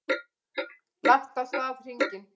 Lagt af stað hringinn